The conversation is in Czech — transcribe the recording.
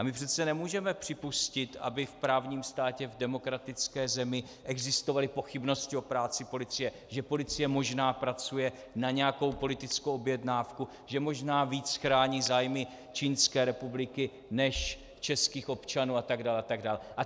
A my přece nemůžeme připustit, aby v právním státě, v demokratické zemi existovaly pochybnosti o práci policie, že policie možná pracuje na nějakou politickou objednávku, že možná víc chrání zájmy Čínské republiky než českých občanů atd., atd.